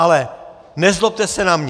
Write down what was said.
Ale nezlobte se na mě.